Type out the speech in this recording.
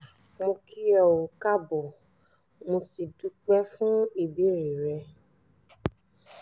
mo kí ọ káàbọ̀ mo sì dúpẹ́ fún ìbéèrè rẹ